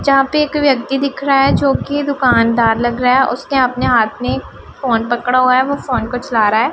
जहां पे एक व्यक्ति दिख रहा है जोकि दुकानदार लग रहा है उसके अपने हाथ में फोन पकड़ा हुआ है वो फोन को चला रहा है।